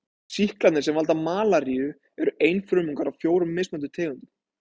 Sýklarnir sem valda malaríu eru einfrumungar af fjórum mismunandi tegundum.